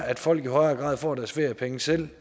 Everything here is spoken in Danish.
at folk i højere grad får deres feriepenge selv